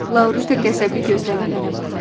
Laurita qəzəbli gözlərlə mənə baxır.